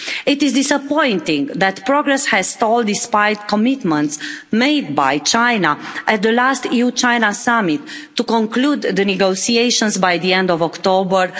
It is disappointing that progress has stalled, despite the commitments made by China at the last EU-China summit to conclude the negotiations by the end of October